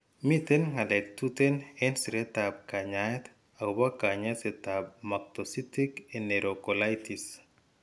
Miiten ngalek tuten en siretab kanyaayet agobo kanyaasyetab mactocytic enerocolitis.